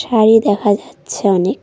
শাড়ি দেখা যাচ্ছে অনেক।